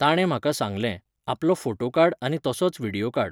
ताणें म्हाका सांगलें, आपलो फोटो काड आनी तसोच विडियो काड.